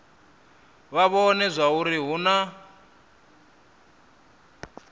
vha vhone zwauri hu na